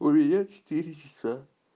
у меня четыре часа